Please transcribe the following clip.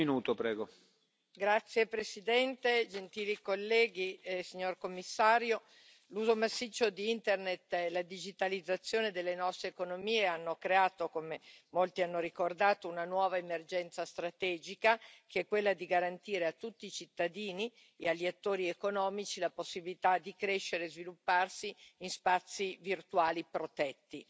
Signor Presidente, onorevoli colleghi, signor Commissario, l'uso massiccio di Internet e la digitalizzazione delle nostre economie hanno creato, come molti hanno ricordato, una nuova emergenza strategica che è quella di garantire a tutti i cittadini e agli attori economici la possibilità di crescere e svilupparsi in spazi virtuali protetti.